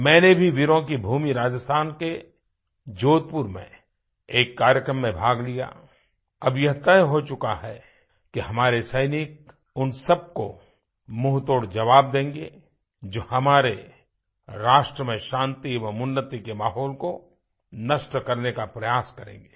मैंने भी वीरों की भूमि राजस्थान के जोधपुर में एक कार्यक्रम में भाग लिया अब यह तय हो चुका है कि हमारे सैनिक उन सबको मुंहतोड़ ज़वाब देंगे जो हमारे राष्ट्र में शांति और उन्नति के माहौल को नष्ट करने का प्रयास करेंगे